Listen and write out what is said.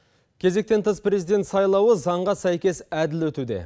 кезектен тыс президент сайлауы заңға сәйкес әділ өтуде